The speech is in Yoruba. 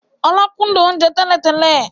Ọlá kúndùn oúnjẹ tẹ́lẹ̀ tẹ́lẹ̀